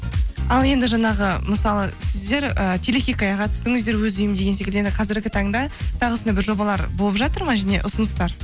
ал енді жаңағы мысалы сіздер ііі телехикаяға түстіңіздер өз үйім деген секілді енді қазіргі таңда тағы осындай бір жобалар болып жатыр ма және ұсыныстар